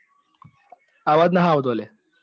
અવાજ નહ આવતો લ્યા.